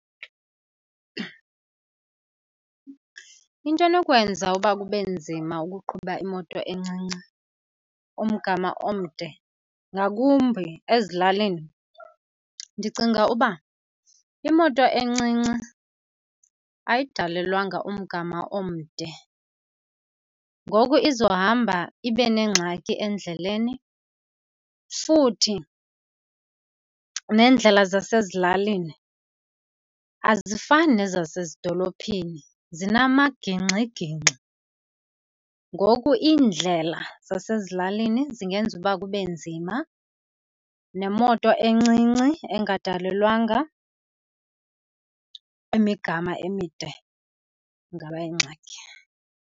Into enokwenza uba kube nzima ukuqhuba imoto encinci umgama omde ngakumbi ezilalini ndicinga uba imoto encinci ayidalelwanga umgama omde. Ngoko izohamba ibe nengxaki endleleni. Futhi neendlela zasezilalini azifani nezasezidolophini zinamagingxigingxi. Ngoku iindlela zasezilalini zingenza uba kube nzima, nemoto encinci engadalelwanga imigama emide ingaba yingxaki